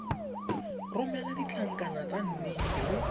romela ditlankana tsa nnete le